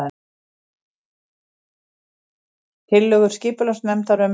Tillögur skipulagsnefndar um